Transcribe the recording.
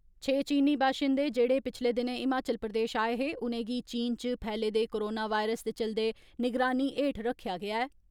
छे चीनी बाशिन्दे जेहड़े पिच्छले दिनें हिमाचल प्रदेश आए हे, उ'नें गी चीन च फैले दे कोरोना वायरस दे चलदे निगरानी हेठ रक्खेआ गेआ ऐ।